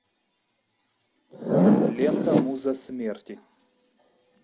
лента муза смерти